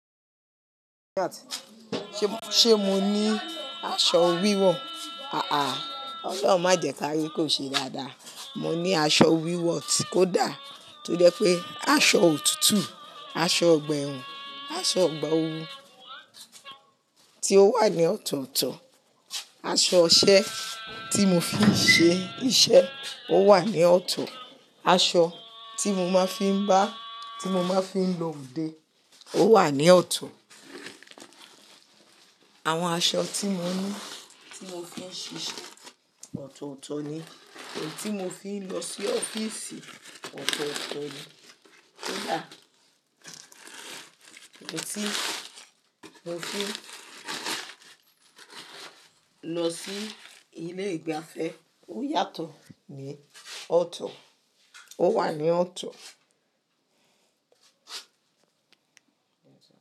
Ṣé mó ní aṣọ wíwọ̀? Ha ha Ọlọ́run má jẹ kárí kò ṣe dáadáa. Mo ní aṣọ wíwọ̀ tí kò dá tó jẹ́ pé aṣọ òtútù, aṣọ ọgbà ẹ̀wọ̀n, aṣọ ọgbà ooru tí ó wà ní ọ̀tọ̀ọ̀tọ̀, aṣọ iṣẹ́ tí mo fi ń ṣe iṣẹ́ ó wà ní ọ̀tọ̀, aṣọ tí mo máa ń fi ń bá tí mo máa ń fi lọ òde ó wà ní ọ̀tọ̀. Àwọn aṣọ tí mo ní tí mo fi ń ṣíṣe ọ̀tọ̀ọ̀tọ̀ ni, èyí tí mo fi ń lọ sí ọ́fíìsì ọ̀tọ̀ọ̀tọ̀ ni. Koda, Èyí tí mo fi ń lọ sí ilé ìgbafẹ́ ó yàtọ̀ ní ọ̀tọ̀, ó wà ní ọ̀tọ̀